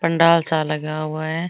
पंडाल सा लगा हुआ है।